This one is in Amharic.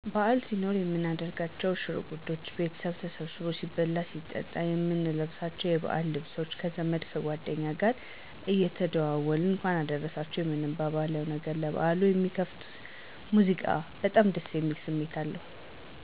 በዓል ሲኖን የምናደርጋቸው ሸርጉዶች፣ ቤተሰብ ተሰብስቦ ሲበላ ሲጠጣ፣ የምንለብሳቸው የዓል ልብሶች፣ ከዘመድ ከጓደኛ ጋር እየተደዋወልነ እንኳን አደርረሰችሁ የምንባባልነው ነገር፣ ለበዓል የሚከፈቱት ሙዚቃ በጣም ደስ የሚል ስሜት አለው።